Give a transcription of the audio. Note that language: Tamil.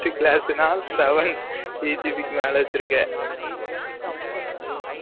first class நா seven CGP க்கு மேல வச்சு இருக்க